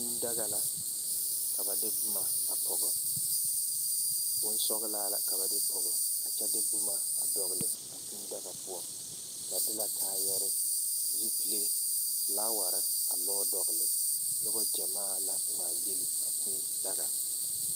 Kūū daga la ka ba de boma a pɔge bonsɔglaa la ka ba de pɔge a kyɛ de boma a dɔgle a kūū daga poɔ ba de la kaayere zupile flaawarre ane boma a lɔɔ dɔgle nobɔ gyamaa la ngmaagyile a kūū daga.